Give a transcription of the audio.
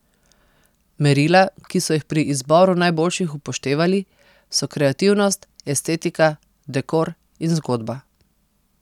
Merila, ki so jih pri izboru najboljših upoštevali, so kreativnost, estetika, dekor in zgodba.